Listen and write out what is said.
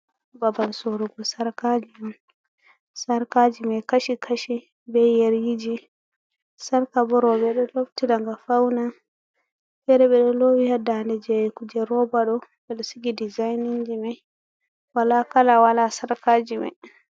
babal sorrugo sarkaji on, sarkaji mai kashi, kashi ,bei yeriji, sarka bo, robe do lobti nga fauna, fere be do lowi ha ndane jeyi kuje robado be sigi dizainaji mai ,wala kala wala sarkaji mai.